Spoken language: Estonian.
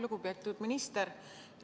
Lugupeetud minister!